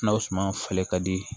Na o suma falen ka di